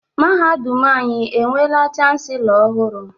Mahadum anyị enweela Chanselọ ọhụrụ?